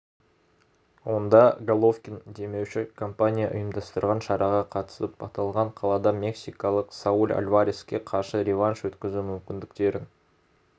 онда головкин демеуші компания ұйымдастырған шараға қатысып аталған қалада мексикалық сауль альвареске қарсы реванш өткізу мүмкіндіктерін